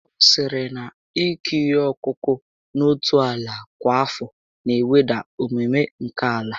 Ọ sịrị na ịkụ ihe ọkụkụ n'otu ala kwa afọ na eweda ọmụmụ nke ala